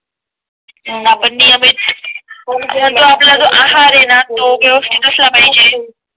आपण नियमित आपला जो आहार ते ना तो व्यवस्थित असला पाहिजे